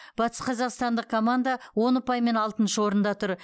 батысқазақстандық команда он ұпаймен алтыншы орында тұр